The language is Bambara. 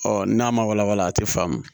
Ɔ n'a ma walawala a tɛ faamu